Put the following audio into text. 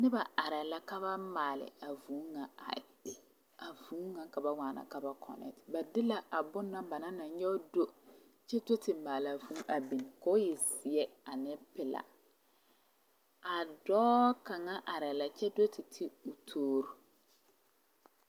Noba arɛɛ la ka ba maale a vūū ŋa a vūū ŋa ka ba waana ka ba konɛte ba de la a bonna ba naŋ na nyɔge do kyɛ do te maale a vūū ka o zeɛ ane pelaa a dɔɔ kaŋa arɛɛ la kyɛ do te ti toori.